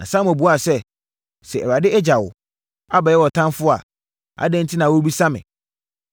Na Samuel buaa sɛ, “Sɛ Awurade agya wo, abɛyɛ wo ɔtamfoɔ a, adɛn enti na worebisa me?